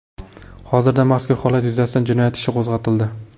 Hozirda mazkur holat yuzasidan jinoyat ishi qo‘zg‘atildi.